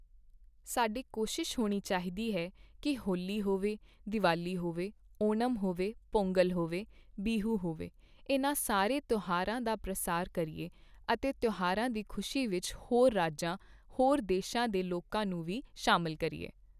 ਸਾਡੀ ਕੋਸ਼ਿਸ਼ ਹੋਣੀ ਚਾਹੀਦੀ ਹੈ ਕੀ ਹੋਲੀ ਹੋਵੇ, ਦੀਵਾਲੀ ਹੋਵੇ, ਓਣਮ ਹੋਵੇ, ਪੋਂਗਲ ਹੋਵੇ, ਬਿਹੁ ਹੋਵੇ, ਇਨ੍ਹਾਂ ਸਾਰੇ ਤਿਓਹਾਰਾਂ ਦਾ ਪ੍ਰਸਾਰ ਕਰੀਏ ਅਤੇ ਤਿਓਹਾਰਾਂ ਦੀ ਖੁਸ਼ੀ ਵਿੱਚ ਹੋਰ ਰਾਜਾਂ, ਹੋਰ ਦੇਸ਼ਾਂ ਦੇ ਲੋਕਾਂ ਨੂੰ ਵੀ ਸ਼ਾਮਿਲ ਕਰੀਏ।